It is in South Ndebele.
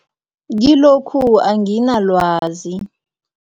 Kilokhu anginalwazi.